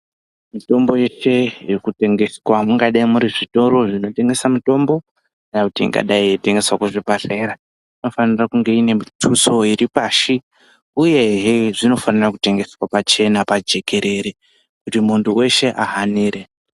Mitombo yeshe yekutengeswa mungadai muri zvitoro zvinotengesa mitombo kana kuti ingadai ichitengeswa kuzvibhadlera inofanire kunge ine mixuso iri pashi uyehe zvinofanira kutengeswa pachena pajekerere kuti muntu weshe ahanire.